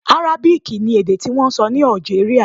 Arábìkì ni èdè tí wọ́n ń sọ ní Algeria.